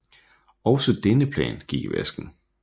Også denne plan gik i vasken